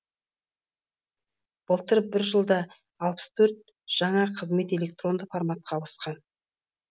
былтыр бір жылда алпыс төрт жаңа қызмет электронды форматқа ауысқан